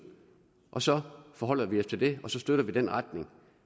og så forholder vi os til det og så støtter vi den retning